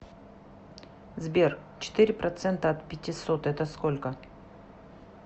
сбер четыре процента от пятисот это сколько